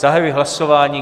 Zahajuji hlasování.